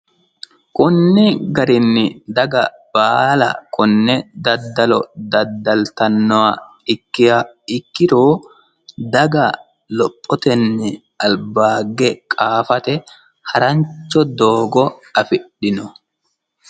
Kuni garinni daga baalla kone daddallo daddaltanoha ikkiha ikkiro daga lophotenni albaahige harancho doogo affidhino.